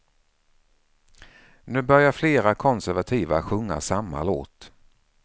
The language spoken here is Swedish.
Nu börjar flera konservativa sjunga samma låt.